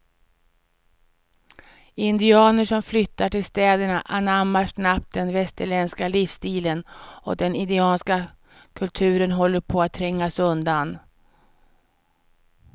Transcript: Indianer som flyttar till städerna anammar snabbt den västerländska livsstilen och den indianska kulturen håller på att trängas undan.